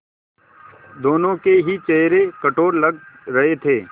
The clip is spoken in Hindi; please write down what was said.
दोनों के ही चेहरे कठोर लग रहे थे